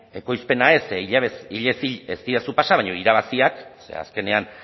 ekoizpena ez ze hilez hil ez didazu pasa baina irabaziak ze azkenean